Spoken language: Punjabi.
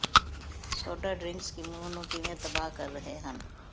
ਸੋਡਾ ਡਰਿੰਕਸ ਮੂੰਹ ਨੂੰ ਕਿਵੇਂ ਤਬਾਹ ਕਰ ਰਹੇ ਹਨ